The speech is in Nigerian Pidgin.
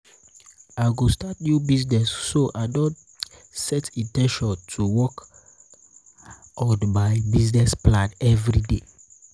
i go start new business so i don set in ten tion to work in ten tion to work on my business plan every day.